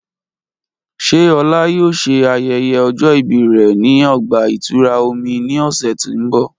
Ṣe Ola yoo ṣe ayẹyẹ ọjọ ibi rẹ ni ọgba-itura omi ni ọsẹ ti n bọ?